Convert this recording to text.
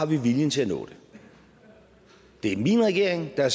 vi har viljen til at nå det det er min regering der